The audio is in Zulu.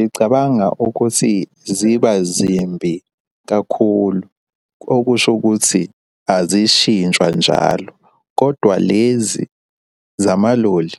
Ngicabanga ukuthi ziba zimbi kakhulu. Okusho ukuthi azishintshwa njalo, kodwa lezi zamaloli